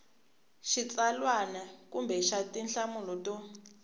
xitsalwana kumbe xa tinhlamulo to